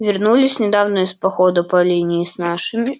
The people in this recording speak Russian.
вернулись недавно из похода по линии с нашими